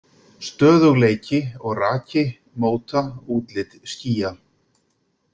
Stöðugleiki og raki móta útlit skýja.